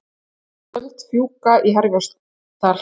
Tjöld fjúka í Herjólfsdal